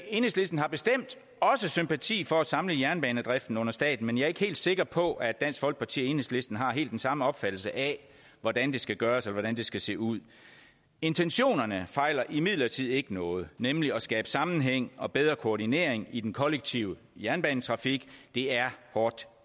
enhedslisten har bestemt også sympati for at samle jernbanedriften under staten men jeg er ikke helt sikker på at dansk folkeparti og enhedslisten har helt den samme opfattelse af hvordan det skal gøres og hvordan det skal se ud intentionerne fejler imidlertid ikke noget nemlig at skabe sammenhæng og bedre koordinering i den kollektive jernbanetrafik det er hårdt